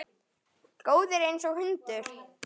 Góður einsog hundur.